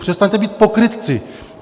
Přestaňte být pokrytci.